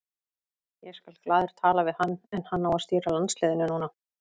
Ég skal glaður tala við hann en hann á að stýra landsliðinu núna.